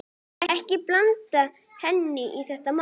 Ekki blanda henni í þessi mál.